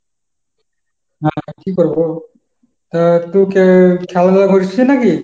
হ্যাঁ কি করবো? তা তুই কি খেলাধুলা করছিস নাকি?